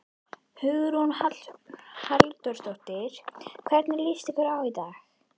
Hugrún Halldórsdóttir: Hvernig líst ykkur á daginn?